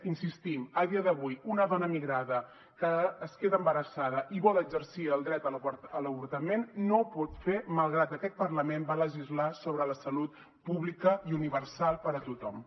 hi insistim a dia d’avui una dona migrada que es queda embarassada i vol exercir el dret a l’avortament no ho pot fer malgrat que aquest parlament va legislar sobre la salut pública i universal per a tothom